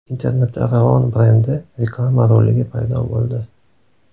Internetda Ravon brendi reklama roligi paydo bo‘ldi .